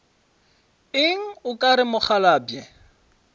eng o ka re mokgalabje